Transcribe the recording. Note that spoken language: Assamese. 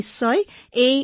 আমি একেলগে যুঁজিম